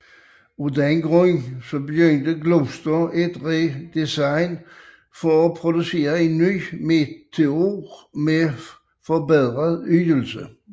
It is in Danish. Af denne grund startede Gloster et redesign for at producere en ny Meteor med forbedret ydelse